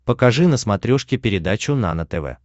покажи на смотрешке передачу нано тв